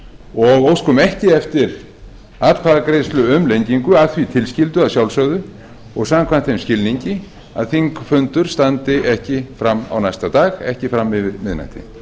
og óskum ekki eftir atkvæðagreiðslu um lengingu að því tilskildu að sjálfsögðu og samkvæmt þeim skilningi að þingfundur standi ekki fram á næsta dag ekki fram yfir miðnætti